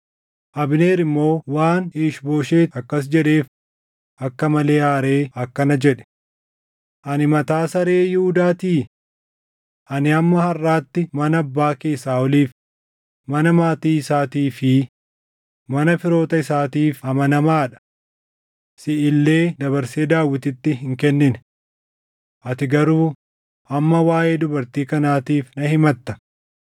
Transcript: Abneer immoo waan Iish-Booshet akkas jedheef akka malee aaree akkana jedhe; “Ani mataa saree Yihuudaatii? Ani hamma harʼaatti mana abbaa kee Saaʼoliif, mana maatii isaatii fi mana firoota isaatiif amanamaa dha. Siʼi illee dabarsee Daawititti hin kennine. Ati garuu amma waaʼee dubartii kanaatiif na himatta!